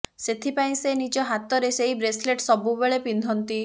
ସେଥିପାଇଁ ସେ ନିଜ ହାତରେ ସେହି ବ୍ରେସଲେଟ ସବୁବେଳେ ପିନ୍ଧନ୍ତି